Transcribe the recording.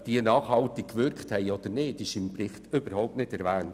Ob dieses Geld nachhaltig gewirkt hat, wird im Bericht überhaupt nicht erwähnt.